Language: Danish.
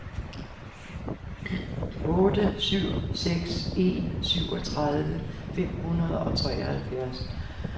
otte syv seks en syvogtredive fem hundrede og treoghalvfjerds